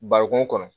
Bari kun kɔnɔ